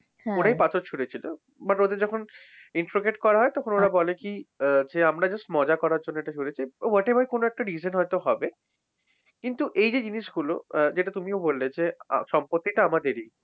ওরাই পাথর ছুড়েছিল but ওদের যখন interroget করা হয় তখন ওরা বলে কি? আহ যে আমরা just মজা করার জন্য এটা করেছি। whatever কোনো একটা reason হয়তো হবে। কিন্তু এই যে জিনিসগূলো আহ যেটা তুমিও বললে যে সম্পত্তিটা আমাদেরই।